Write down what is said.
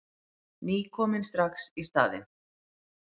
Ný komin strax í staðinn.